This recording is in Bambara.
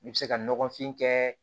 I bɛ se ka nɔgɔfin kɛ